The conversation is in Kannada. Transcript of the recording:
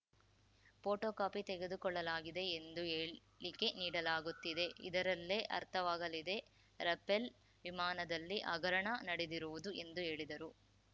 ಫೋಟೋ ಕಾಪಿ ತೆಗೆದುಕೊಳ್ಳಲಾಗಿದೆ ಎಂದು ಹೇಳಿಕೆ ನೀಡಲಾಗುತ್ತಿದೆ ಇದರಲ್ಲೇ ಅರ್ಥವಾಗಲಿದೆ ರಫೇಲ್ ವಿಮಾನದಲ್ಲಿ ಹಗರಣ ನಡೆದಿರುವುದು ಎಂದು ಹೇಳಿದರು